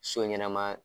So ɲɛnɛma